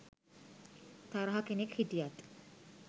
තරහ කෙනෙක් හිටියත්